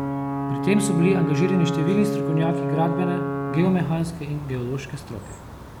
Pri tem so bili angažirani številni strokovnjaki gradbene, geomehanske in geološke stroke.